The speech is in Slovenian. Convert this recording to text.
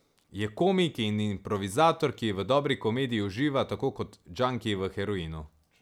Je komik in improvizator, ki v dobri komediji uživa tako kot džanki v heroinu.